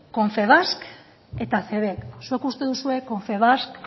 confebask eta cebek zuek uste duzue confebask